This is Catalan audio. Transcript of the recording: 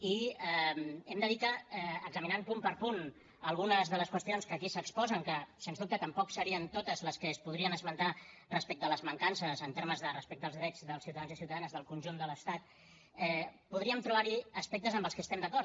i hem de dir que examinant punt per punt algunes de les qüestions que aquí s’exposen que sens dubte tampoc serien totes les que es podrien esmentar respecte a les mancances en termes de respecte als drets dels ciutadans i ciutadanes del conjunt de l’estat podríem trobar hi aspectes amb els que estem d’acord